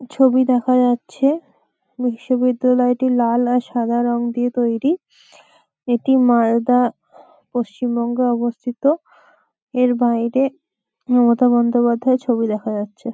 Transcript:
ছবি দেখা যাচ্ছে বিশ্ববিদ্যালয়টি লাল আর সাদা রং দিয়ে তৈরি । এটি মালদা পশ্চিমবঙ্গে অবস্থিত এর বাইরে মমতা বন্দোপাধ্যায় এর ছবি দেখা যাচ্ছে।